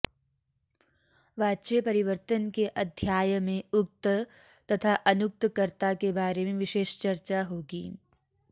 वाच्य परिवर्तन के अध्याय में उक्त तथा अनुक्त कर्ता के बारे में विशेष चर्चा होगी